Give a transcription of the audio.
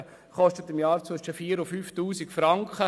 Dies kostet im Jahr zwischen 4000 und 5000 Franken.